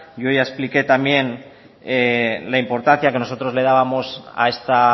yo ya expliqué también la importancia que nosotros le dábamos a esta